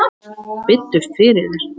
Biddu fyrir þér!